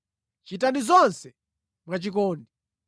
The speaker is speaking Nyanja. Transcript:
Chitani zonse mwachikondi.